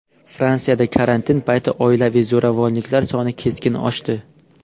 Fransiyada karantin payti oilaviy zo‘ravonliklar soni keskin oshdi.